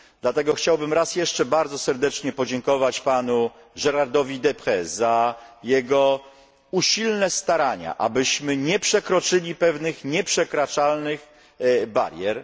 Dlatego chciałbym raz jeszcze bardzo serdecznie podziękować panu Gérardowi Deprez za jego usilne starania, abyśmy nie przekroczyli pewnych nieprzekraczalnych barier.